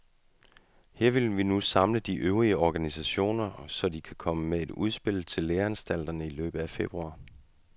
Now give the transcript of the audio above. Han vil nu samle de øvrige organisationer, så de kan komme med et udspil til læreanstalterne i løbet af februar.